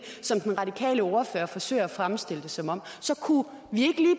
som den radikale ordfører forsøger at fremstille det som om